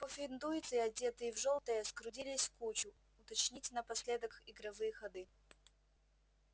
пуффендуйцы одетые в жёлтое сгрудились в кучу уточнить напоследок игровые ходы